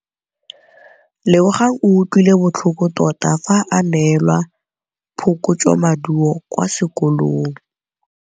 Lebogang o utlwile botlhoko tota fa a neelwa phokotsômaduô kwa sekolong.